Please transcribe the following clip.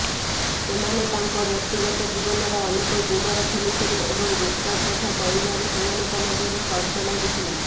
ସେମାନେ ତାଙ୍କ ବ୍ୟକ୍ତିଗତ ଜୀବନର ଅନେକ ଗୁମର ଖୋଲିଥିଲେ ଏବଂ ଗୁପ୍ତକଥା କହିବାରେ ସେମାନଙ୍କ ମଧ୍ୟରେ ସର୍ତ୍ତ ଲାଗିଥିଲା